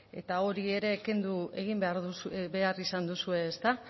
ezta eta hori ere kendu egin behar izan duzue ezta